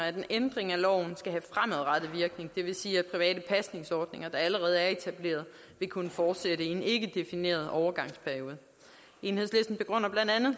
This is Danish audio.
at en ændring af loven skal have fremadrettet virkning det vil sige at private pasningsordninger der allerede er etableret vil kunne fortsætte i en ikke defineret overgangsperiode enhedslisten begrunder blandt andet